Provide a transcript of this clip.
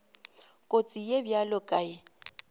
kotsi ye bjalo ka ye